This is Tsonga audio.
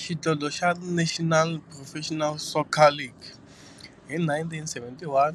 Xidlodlo xa National Professional Soccer League hi 1971,